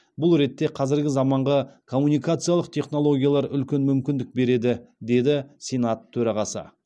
бұл ретте қазіргі заманғы коммункациялық технологиялар үлкен мүмкіндік береді деді сенат төрағасы